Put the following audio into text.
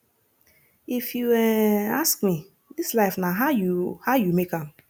if you um ask me dis life na how you how you make am